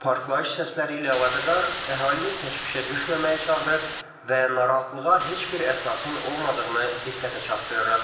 Partlayış səsləri ilə əlaqədar əhalini təşvişə düşməməyə çağırır və narahatlığa heç bir əsasın olmadığını diqqətə çatdırırıq.